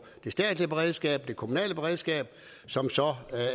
det statslige beredskab og det kommunale beredskab som